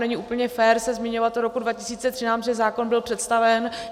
Není úplně fér se zmiňovat o roku 2013, že zákon byl představen.